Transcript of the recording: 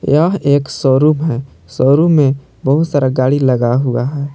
यह एक शोरूम है शोरूम में बहुत सारा गाड़ी लगा हुआ है।